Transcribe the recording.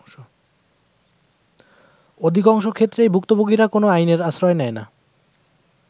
অধিকংশ ক্ষেত্রেই ভুক্তভোগিরা কোন আইনের আশ্রয় নেয় না।।